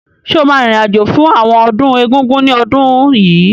Sọ ma rìn rìn àjò fún ọdún Egúngún ní ọdún yìí?